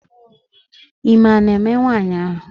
Ime a na-eme nwaanyị ahụ?